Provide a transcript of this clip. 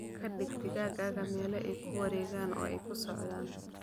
Ka dhig digaagga meelo ay ku wareegaan oo ay ku socdaan.